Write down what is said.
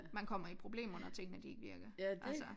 Man kommer i problemer når tingene de ikke virker altså